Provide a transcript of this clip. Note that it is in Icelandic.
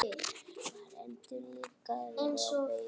Var endurlífgaður á vettvangi